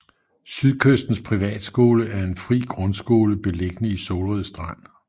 Sydkystens Privatskole er en fri grundskole beliggende i Solrød Strand